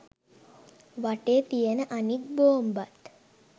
වටේ තියන අනෙක් බෝම්බත්